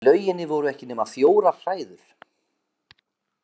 Í lauginni voru ekki nema fjórar hræður.